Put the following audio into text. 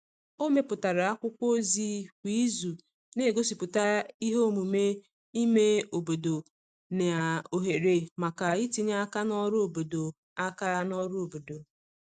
o meputara akwụkwo ozi kwa izu n'egosiputa ihe omume ime obodo na ohere maka itinye aka n'ọrụ obodo aka n'ọrụ obodo